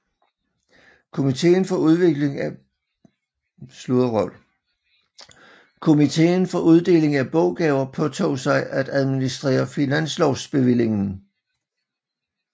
Komiteen for Uddeling af Boggaver påtog sig at administrere finanslovsbevillingen